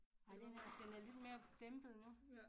Nej den er den er lidt mere dæmpet nu